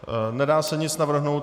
Nedá se nic navrhnout.